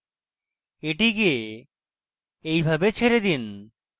এটিকে এইভাবে ছেড়ে দিন